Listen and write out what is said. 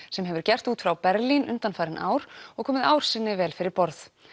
sem hefur gert út frá Berlín undanfarin ár og komið ár sinni vel fyrir borð